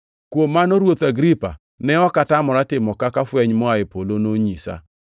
“Kuom mano, Ruoth Agripa, ne ok atamora timo kaka fweny moa e polo nonyisa.